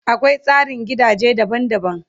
Akwai tsarin gidaje daban daban